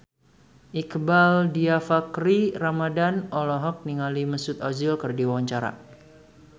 Iqbaal Dhiafakhri Ramadhan olohok ningali Mesut Ozil keur diwawancara